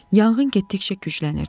Yanğın getdikcə güclənirdi.